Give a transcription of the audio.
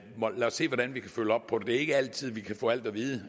se hvordan vi kan følge op på det er ikke altid at vi kan få alt at vide